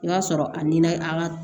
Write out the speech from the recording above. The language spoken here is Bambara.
I b'a sɔrɔ a ni na an ka